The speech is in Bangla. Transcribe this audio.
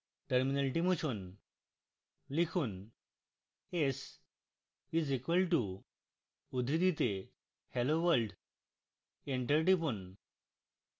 terminal মুছুন